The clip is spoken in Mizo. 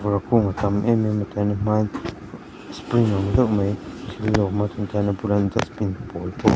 kung a tam em em a tian a hma ah hian spring ang deuh mai thil a awm a chuan a bulah hian dustbin pawl te paw--